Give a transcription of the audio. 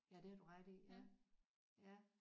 Ja det har du ret i ja ja